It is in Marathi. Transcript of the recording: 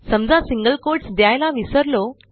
समजा सिंगल कोट्स द्यायला विसरलो